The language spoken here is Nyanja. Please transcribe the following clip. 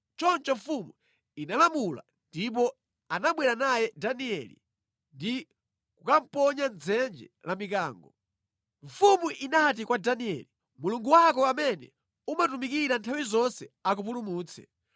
Choncho mfumu inalamula, ndipo anabwera naye Danieli ndi kukamuponya mʼdzenje la mikango. Mfumu inati kwa Danieli, “Mulungu wako amene umutumikira nthawi zonse, akupulumutse!”